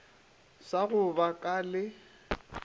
sa go ka ba le